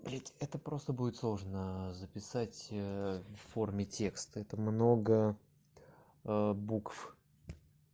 блядь это просто будет сложно записать в форме текста это много букв